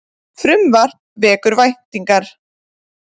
Frumvarp vekur væntingar